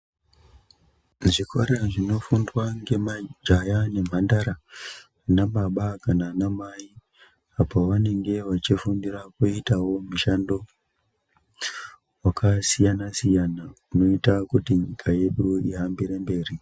Muzvikora zvinofundwa ngemajaya nemandara ana baba kana ana mai apo vanenge vachifundira kuitawo mushando wakasiyana siyana unoita kuti nyika yedu ihambire mberi.